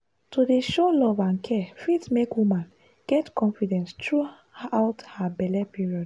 to dey show love and care fit make woman get confidence through out her belle period.